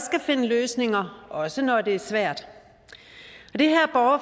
skal finde løsninger også når det er svært